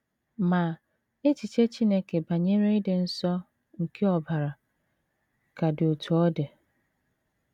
Ma, echiche Chineke banyere ịdị nsọ nke ọbara ka dị otú ọ dị.